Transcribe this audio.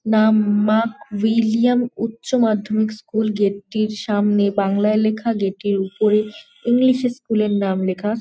নাম Mac William উচ্চ মাধ্যমিক স্কুল গেট টির সামনে বাংলায় লেখা। গেট টির উপরে ইংলিশ -এ স্কুল -এর নাম লেখা।